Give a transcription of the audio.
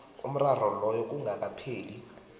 umraro loyo kungakapheli